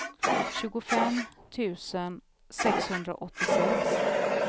tjugofem tusen sexhundraåttiosex